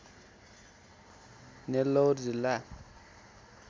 नेल्लौर जिल्ला